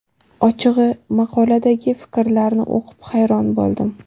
Ochig‘i, maqoladagi fikrlarni o‘qib, hayron bo‘ldim.